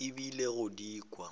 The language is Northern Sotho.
o ile go di kwa